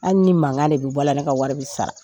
Hali ni mankan de bɛ bɔ a la, ne ka wari bɛ sara.